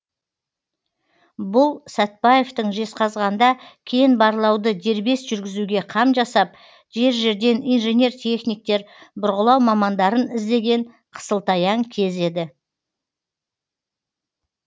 бұл сәтбаевтың жезқазғанда кен барлауды дербес жүргізуге қам жасап жер жерден инженер техниктер бұрғылау мамандарын іздеген қысылтаяң кезі еді